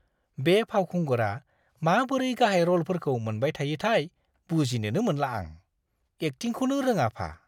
बे फावखुंगुरा माबोरै गाहाय रलफोरखौ मोनबाय थायोथाय बुजिनोनो मोनला आं। एकटिंखौनो रोङाफा।